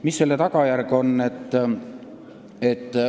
Mis selle tagajärg on?